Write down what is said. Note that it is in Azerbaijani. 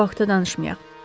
Daha bu haqda danışmayaq.